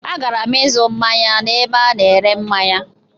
A gara'm ịzụ manye na ebe a na ere manye.